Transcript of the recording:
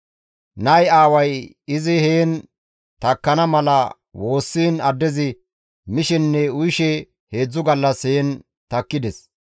Nayi aaway izi heen takkana mala woossiin addezi mishenne uyishe 3 gallas heen takkides.